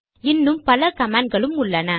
இன்னும் பல கமாண்ட் களும் உள்ளன